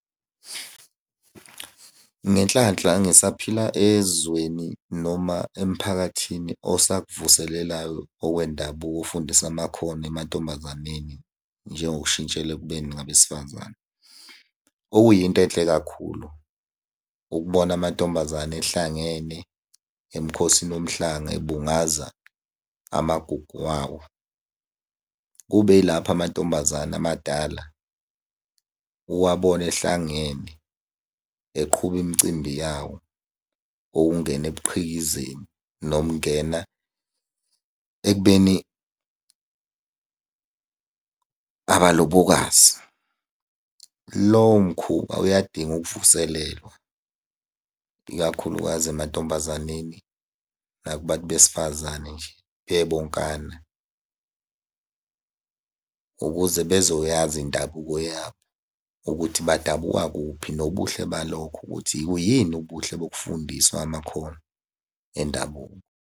Ngenhlanhla ngisaphila ezweni noma emphakathini osakuvuselelayo okwendabuko ofundisa amakhono emantombazaneni, njengo kushintshela ekubeni ngabesifazane. Okuyinto enhle kakhulu ukubona amantombazane ehlangene emukhosini womhlanga ebungaza amagugu wawo. Kube yilapho amantombazane amadala uwabone ehlangene eqhuba imicimbi yawo okungena ebuqhikizeni noma ungena ekubeni abalobokazi. Lowo mkhuba uyadinga ukuvuselelwa, ikakhulukazi emantombazaneni naku bantu besifazane nje bebonkana, ukuze bezoyazi indabuko yabo ukuthi badabuka kuphi, nobuhle balokho ukuthi yini ubuhle bokufundiswa amakhono endabuko.